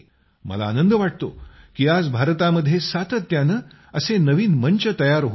मला आनंद वाटतो की आज भारतामध्ये सातत्यानं असे नवीन मंच तयार होत आहेत